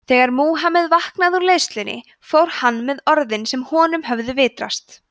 þegar múhameð vaknaði úr leiðslunni fór hann með orðin sem honum höfðu vitrast